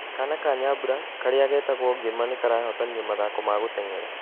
Kana ka Nyambura, karĩa getagwo Ngĩma nĩ karahotanire mathako ma gũteng'era.